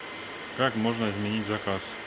как можно изменить заказ